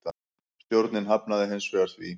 Stjórnin hafnaði hins vegar því.